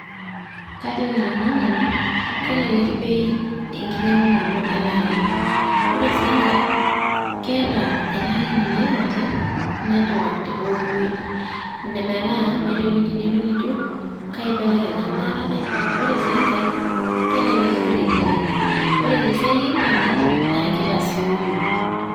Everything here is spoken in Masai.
Kajoki ilainyang'ani, kelelek bei enkinyang'unoto ele aini. Ore si enkae, keeta ele aini le airtel netwak tepooki wueji. Nemetaa meeta ewueji nilo nijo, kaibelekeny amu meeta netwak. Ore si enkae,